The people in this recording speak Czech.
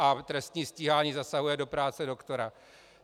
A trestní stíhání zasahuje do práce doktora.